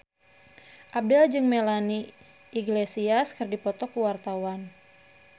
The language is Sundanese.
Abdel jeung Melanie Iglesias keur dipoto ku wartawan